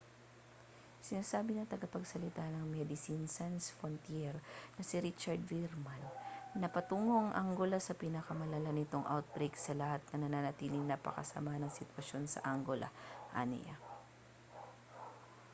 sinabi ng tagapagsalita ng medecines sans frontiere na si richard veerman na patungo ang angola sa pinakamalala nitong outbreak sa lahat at nananatiling napakasama ng sitwasyon sa angola aniya